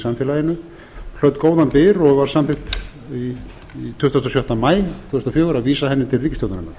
samfélaginu hlaut góðan byr og var samþykkt tuttugasta og sjötta maí tvö þúsund og fjögur að vísa henni til ríkisstjórnarinnar